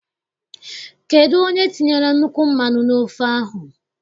Kedụ onye tinyere nnukwu mmanụ n' ofe ahụ?